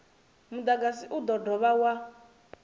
mudagasi u do dovha wa